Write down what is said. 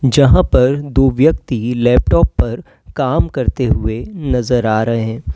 जहां पर दो व्यक्ति लैपटॉप पर काम करते हुए नजर आ रहे हैं।